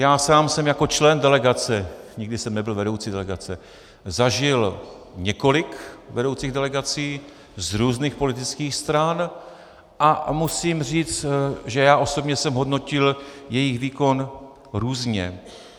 Já sám jsem jako člen delegace, nikdy jsem nebyl vedoucí delegace, zažil několik vedoucích delegací z různých politických stran a musím říct, že já osobně jsem hodnotil jejich výkon různě.